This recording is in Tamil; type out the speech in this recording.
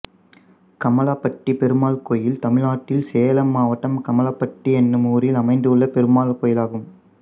கம்மாளப்பட்டி பெருமாள் கோயில் தமிழ்நாட்டில் சேலம் மாவட்டம் கம்மாளப்பட்டி என்னும் ஊரில் அமைந்துள்ள பெருமாள் கோயிலாகும்